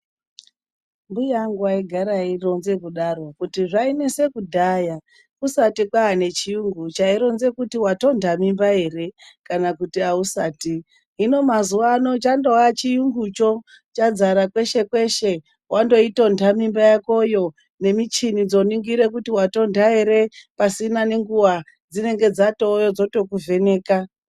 Mbuya angu waigara aironze kudaro kuti zvainese kudhaya kusati kwaane chiyungu chaironze kuti watonda mimba here kana kuti ausati. Hino mazuva ano chandova chiyungu cho chazara kweshe kweshe. Wandoitonda mimba yakoyo, nemichini dzoningira kuti watonda here, pasina nenguva dzinenge dzatouya dzotokuvheneka.